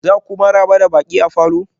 za ku maraba da baƙi a falor?